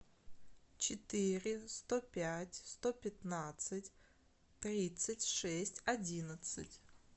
четыре сто пять сто пятнадцать тридцать шесть одиннадцать